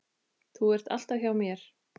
Þú ert alltaf hjá mér.